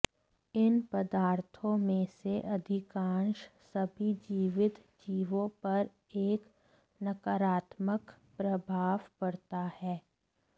इन पदार्थों में से अधिकांश सभी जीवित जीवों पर एक नकारात्मक प्रभाव पड़ता है